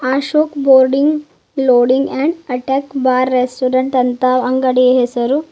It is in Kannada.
Ashoka boarding loading and attack bar ಅಂತ ಅಂಗಡಿ ಹೆಸರು.